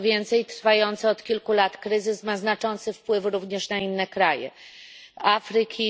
Co więcej, trwający od kilku lat kryzys ma znaczący wpływ również na inne kraje Afryki.